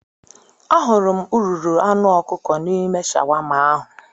Ahụrụ m ururu anụ ọkụkọ n'ime shawama ahụ